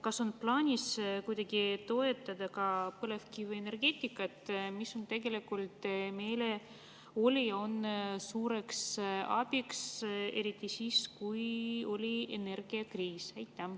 Kas on plaanis kuidagi toetada ka põlevkivienergeetikat, mis tegelikult oli ja on meile suureks abiks, eriti oli energiakriisi ajal?